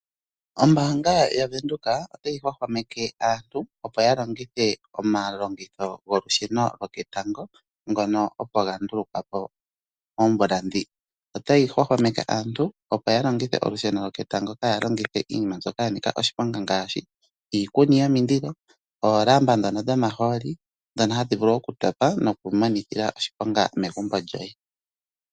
Ombaanga yaVenduka otayi hwahwameke aantu opo ya longithe omalongitho golusheno lyoketango ngono opo ga ndulukwapo oomvula ndhika. Otayi hwahwameke aantu opo ya longithe olusheno lwoketango kaya longithe iinima mbyoka yanika oshiponga ngaashi iikuni yomililo, oolamba ndhono dho mahooli dhono hadhi vulu okutopa nokumonitha oshiponga megumbo lyoye.